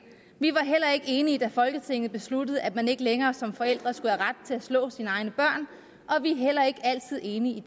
vi var heller ikke enige da folketinget besluttede at man ikke længere som forældre skulle have ret til at slå sine egne børn og vi er heller ikke altid enige i